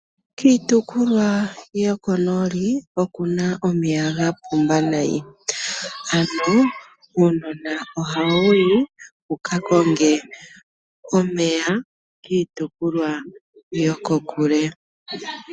Kiitukulwa yoko nooli okuna omeya ga pumba nayi. Ano uunona ohawuyi wukakonge omeya kiitukulwa yokokule.